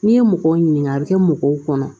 N'i ye mɔgɔw ɲininka a bɛ kɛ mɔgɔw kɔnɔ